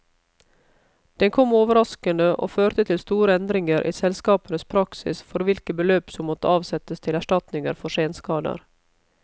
Den kom overraskende, og førte til store endringer i selskapenes praksis for hvilke beløp som måtte avsettes til erstatninger for senskader.